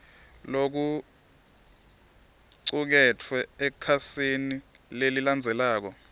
lokucuketfwe ekhasini lelilandzelako